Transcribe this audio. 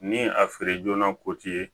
Ni a feere joona ko ti ye